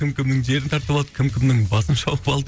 кім кімнің жерін тартып алды кім кімнің басын шауып алды